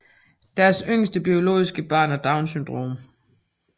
Deres yngste biologiske barn har Downs syndrom